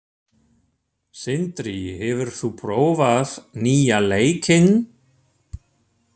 Sindri, hefur þú prófað nýja leikinn?